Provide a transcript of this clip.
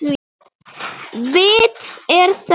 Vits er þörf